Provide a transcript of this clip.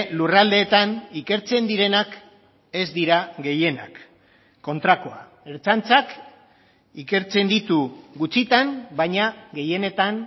lurraldeetan ikertzen direnak ez dira gehienak kontrakoa ertzaintzak ikertzen ditu gutxitan baina gehienetan